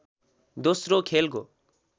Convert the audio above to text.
दोस्रो खेलको